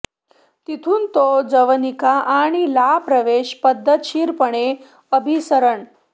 तिथून तो जवनिका आणि ला प्रवेश पद्धतशीरपणे अभिसरण